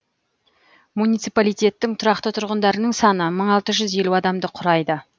муниципалитеттің тұрақты тұрғындарының саны мың алты жүз елу адамды құрайды